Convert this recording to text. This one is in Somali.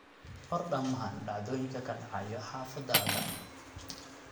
qor dhammaan dhacdooyinka ka dhacaya xaafadda